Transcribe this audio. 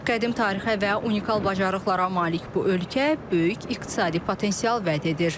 Qədim tarixə və unikal bacarıqlara malik bu ölkə böyük iqtisadi potensial vəd edir.